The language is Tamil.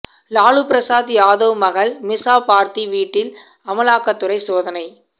லாலு பிரசாத் யாதவ் மகள் மிசா பார்தி வீட்டில் அமலாக்கத்துறை சோதனை